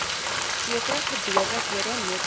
sekere gebeurlikhede noodsaaklik